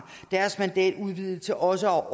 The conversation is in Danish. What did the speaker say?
udvidet til også at